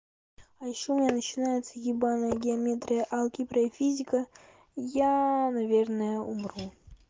а ещё у меня начинается ебанная геометрия алгебра и физика я наверное умру